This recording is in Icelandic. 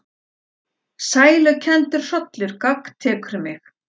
Sælukenndur hrollur gagntekur mig.